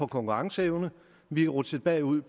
konkurrenceevne vi er rutsjet bagud